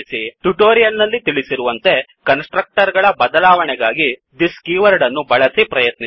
tutorial ನಲ್ಲಿ ತಿಳಿಸಿರುವಂತೆ constructor ಗಳ ಬದಲಾವಣೆಗಾಗಿ thisದಿಸ್ ಕೀವರ್ಡ್ ಅನ್ನು ಬಳಸಿ ಪ್ರಯತ್ನಿಸಿ